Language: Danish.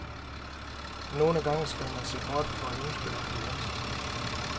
Nogle gange skal man se bort fra ønsket om gevinst.